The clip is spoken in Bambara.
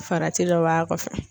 Farati dɔ b'a kɔfɛ.